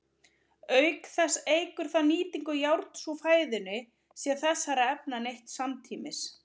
Auk þess eykur það nýtingu járns úr fæðunni sé þessara efna neytt samtímis.